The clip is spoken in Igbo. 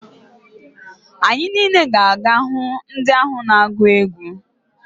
Anyị niile ga-aga hụ ndị ahụ na-agụ egwu.